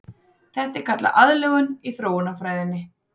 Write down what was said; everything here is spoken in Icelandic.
Þetta er kallað aðlögun í þróunarfræðinni.